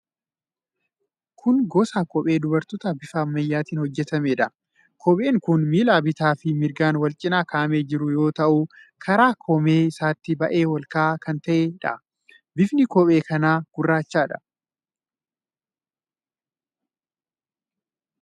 Kun gosa kophee dubartootaa bifa ammayyaatiin hojjetameedha. Kopheen kun miila bitaa fi mirgaan wal cina kaa'amee kan jiru yoo ta'u, Karaa koomee isaatii baay'ee olka'aa kan ta'eedha. Bifni kophee kanaa gurraachadha.